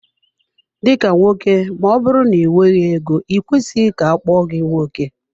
Dika nwoke ma ọbụrụ na i nweghị ego i kwesịghị ka akpọọ gi nwoke.